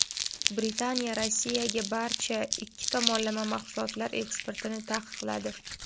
Britaniya Rossiyaga barcha ikki tomonlama mahsulotlar eksportini taqiqladi.